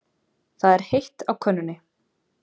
Það er heitt á könnunni.